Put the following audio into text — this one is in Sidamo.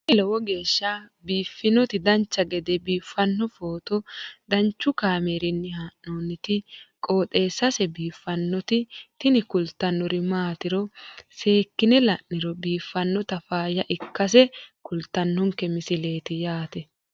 tini lowo geeshsha biiffannoti dancha gede biiffanno footo danchu kaameerinni haa'noonniti qooxeessa biiffannoti tini kultannori maatiro seekkine la'niro biiffannota faayya ikkase kultannoke misileeti yaate